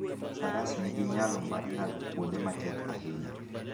Faras nigi nyalo mar ng'ado kuonde matek ahinya.